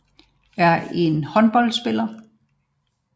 Robeace Abogny er en ivoriansk håndboldspiller